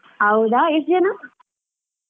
ಹೌದಾ ಎಷ್ಟ್ ಜನ?